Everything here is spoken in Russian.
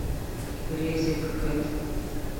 резеткед